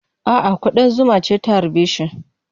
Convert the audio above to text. A'a, kuɗan zuma ce ta harbe shi.